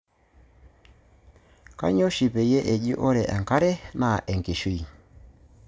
Kanyioo oshi peyie eji ore enkare naa enkishui?